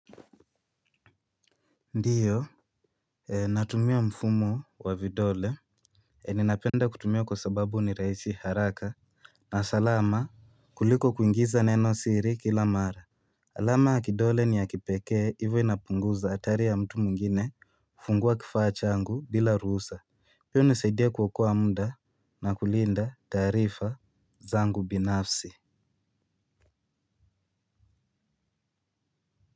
Ndiyo. Natumia mfumo wa vidole. Ninapenda kutumia kwa sababu ni rahisi haraka. Na salama kuliko kuingiza neno siri kila mara. Alama ya kidole ni ya kipekee hivyo inapunguza hatari ya mtu mwingine. Fungua kifaa changu bila ruhusa. Pia hunisaidia kuokoa muda na kulinda taarifa zangu binafsi.